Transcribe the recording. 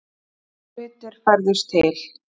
Eins og hlutir færðust til.